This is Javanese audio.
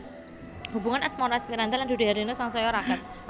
Hubungan asmara Asmirandah lan Dude Harlino sangsaya raket